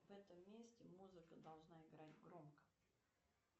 в этом месте музыка должна играть громко